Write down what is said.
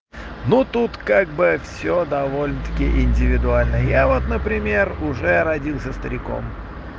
ну тут как бы всё довольно-таки индивидуально я вот например уже родился стариком